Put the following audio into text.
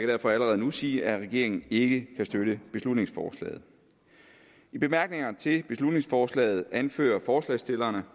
derfor allerede nu sige at regeringen ikke kan støtte beslutningsforslaget i bemærkningerne til beslutningsforslaget anfører forslagsstillerne